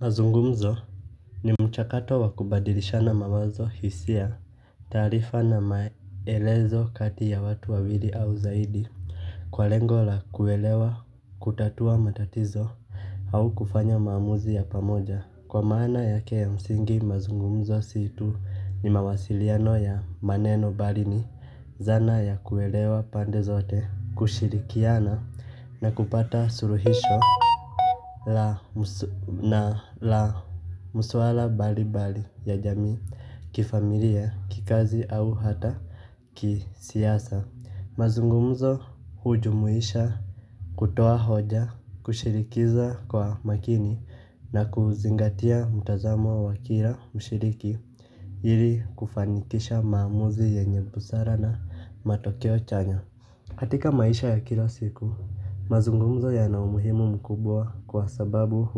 Mazungumzo ni mchakato wakubadilishana mawazo hisia tarifa na maelezo kati ya watu wawili au zaidi. Kwa lengo la kuelewa kutatua matatizo au kufanya maamuzi ya pamoja. Kwa maana yake ya msingi mazungumzo si tu ni mawasiliano ya maneno bali ni dhana ya kuelewa pande zote kushirikiana na kupata suluhisho la na la mswala mbali mbali ya jamii kifamilia kikazi na au hata kisiasa. Mazungumzo hujumuisha kutoa hoja kushirikiza kwa makini na kuzingatia mutazamo wa wakila mshiriki ili kufanikisha maamuzi yenye busara na matokeo chanya. Katika maisha ya kila siku, mazungumzo yana umuhimu mkubwa kwa sababu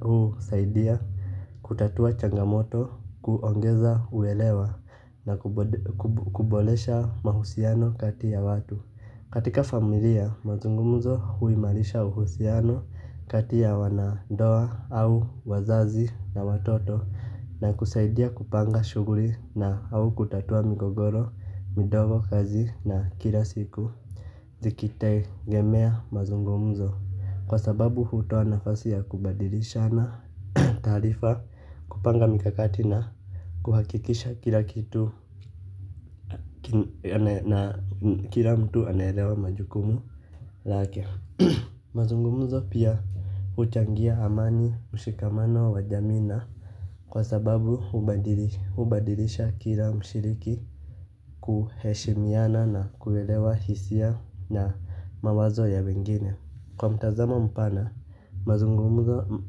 husaidia kutatua changamoto, kuongeza uelewa na kubolesha mahusiano kati ya watu. Katika familia mazungumzo huimarisha uhusiano kati ya wanandoa au wazazi na watoto na kusaidia kupanga shughuli na au kutatua migogoro mindogo kazi na kila siku. Zikitegemea mazungumzo kwa sababu hutoa nafasi ya kubadilishana taarifa kupanga mikakati na kuhakikisha kila kitu. Kila mtu anaelewa majukumu lake. Mazungumuzo pia huchangia amani ushikamano wa jamii na kwa sababu hubadilisha kila mshiriki. Kuheshimiana na kuelewa hisia na mawazo ya wengine. Kwa mtazamo mpana mazungumuzo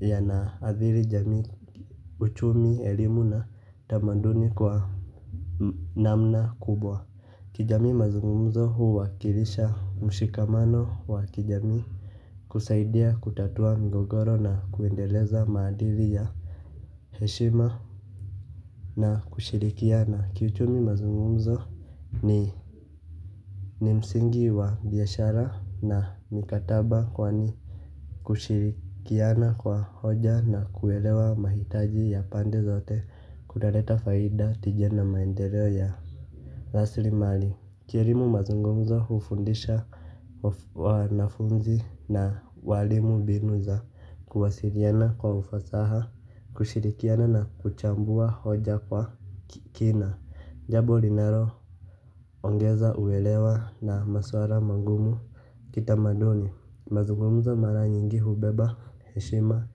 yanaadhiri jamii. Uchumi, elimu na tamaduni kwa namna kubwa kijamii mazungumzo huwakilisha mshikamano wa kijamii kusaidia kutatua migogoro na kuendeleza maadili ya heshima na kushirikiana kiuchumi mazungumzo ni ni msingi wa biashara na mikataba kwani kushirikiana kwa hoja na kuelewa mahitaji ya pande zote kunaleta faida tija na maendeleo ya raslimali kielimu mazungumzo hufundisha. Wanafunzi na walimu binu za kuwasiliana kwa ufasaha kushirikiana na kuchambua hoja kwa kina. Jabo linaloongeza uelewa na maswara mangumu kita maduni. Mazugumzo mara nyingi hubeba heshima.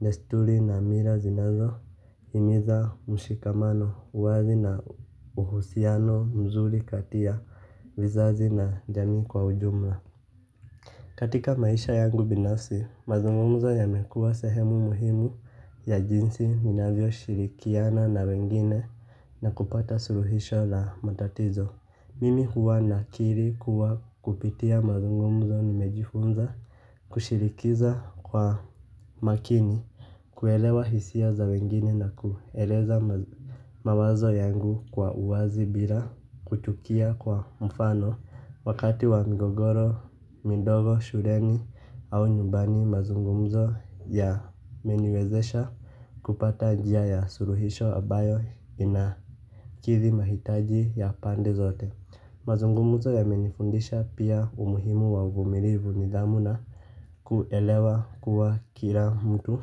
Destuli na mira zinazohimiza mshikamano uwazi na uhusiano mzuri kati ya vizazi na jamii kwa ujumla. Katika maisha yangu binafsi, mazungumzo yamekuwa sehemu muhimu ya jinsi minavyo shirikiana na wengine na kupata suluhisho la matatizo. Mimi huwa nakili kuwa kupitia mazungumzo nimejifunza kushirikiza kwa maakini, kuelewa hisia za wengine na kueleza mawazo yangu kwa uwazi bila kuchukia kwa mfano. Wakati wa migogoro, mindogo, shuleni au nyumbani mazungumzo ya meniwezesha kupata njia ya suluhisho ambayo inakithi mahitaji ya pande zote. Mazungumzo yamenifundisha pia umuhimu wa uvumilivu nidhamu na kuelewa kuwa kila mtu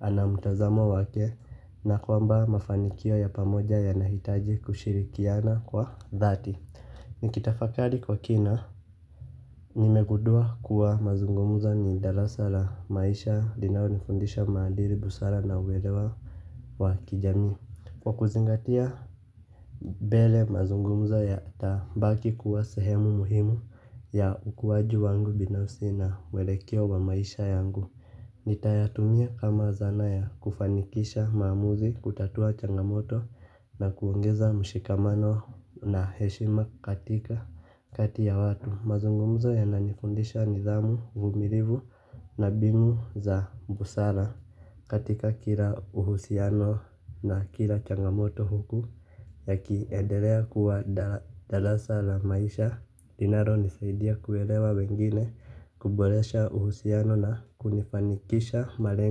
ana mutazamo wake na kwamba mafanikio ya pamoja yanahitaji kushirikiana kwa dhati nikitafakari kwa kina nimegudua kuwa mazungumzo ni darasa la maisha linalo nifundisha maadili busara na uwelewa wa kijamii. Kwa kuzingatia mbele mazungumzo yatabaki kuwa sehemu muhimu ya ukuaji wangu binafsi na mwelekeo wa maisha yangu. Nitayatumia kama zana ya kufanikisha maamuzi kutatua changamoto na kuongeza mshikamano na heshima katika kati ya watu. Mazungumzo yananifundisha nidhamu uvumilivu na binu za busara katika kila uhusiano na kila changamoto huku ya kiendelea kuwa darasa la maisha linalo nisaidia kuelewa wengine. Kuboresha uhusiano na kunifanikisha malengo.